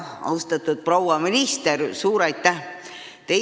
Austatud proua minister, suur aitäh!